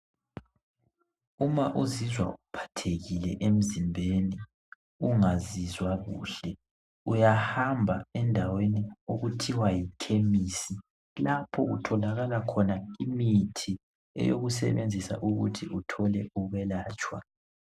Uma uzizwa uphathekile emzimbeni ungazizwa kuhle ,uyahamba endaweni okuthiwa yikhemisi .Lapho kutholakala khona imithi eyokusebenzisa ukuthi uthole ukwelatshwa.